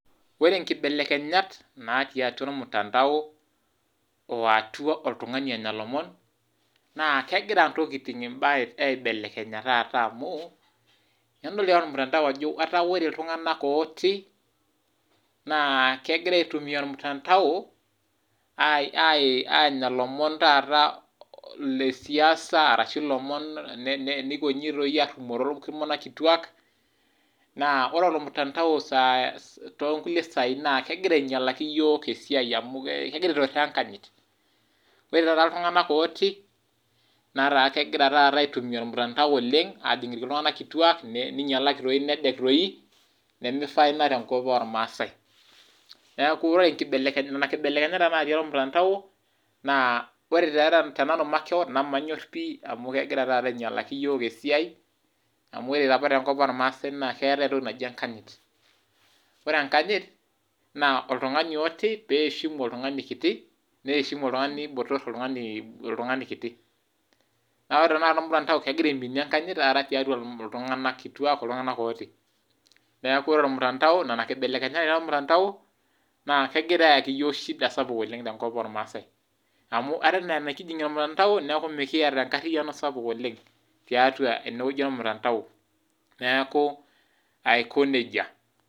Ore nkibelekenyat natii atua ormutandao woatuaboltungani onya lomon na kegira ntokitin imbaa aibelekenya taata amu tenidol toi ormutandao ataa ltunganak otii, naa kegira aitumia ormutandao anya lomon taata le siasiashublomon, nikonji ashumakino oltunganak kituak naa ore ormutandao tonkuamlie sai na kegira ainyalaki yiok esiaiamu kegira aituraa enkanyit, oreee ltunganak otii nataa kegira aitumia ormutandao oleng ninyalaki toi nedek toi nemeishaa ina tenkop ormasaai, neaku ore nona keibelekenyat namanyor pii amu kegira ainyalaki yiok esiai mu, ore enkanyit oltungani kiti oinyati oltungani k,na ore ore ormutandao kegira aiminie enkanyit toltunganak otoi, neaku nona keibelekenyat kiyaki